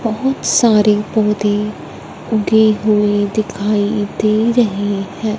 बहुत सारे पौधे उगे हुए दिखाई दे रहे हैं।